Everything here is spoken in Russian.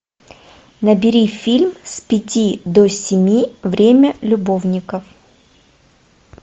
набери фильм с пяти до семи время любовников